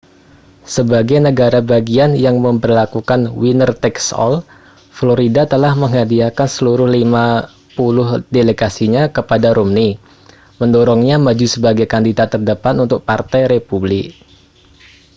sebagai negara bagian yang memberlakukan winner-takes-all florida telah menghadiahkan seluruh lima puluh delegasinya kepada romney mendorongnya maju sebagai kandidat terdepan untuk partai republik